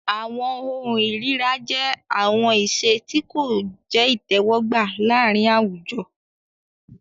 Awọn ohun ìríra jẹ awọn iṣe ti ko jẹ itẹwọgba laarin awujo.